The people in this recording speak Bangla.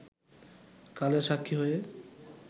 কালের সাক্ষী হয়ে